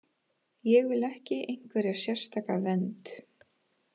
Ég vill ekki einhverja sérstaka vernd.